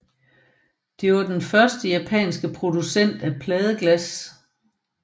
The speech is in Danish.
Det var den første japanske producent af pladeglas